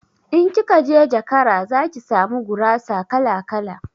In kikaje jakara zaki samu gurasa kala-kala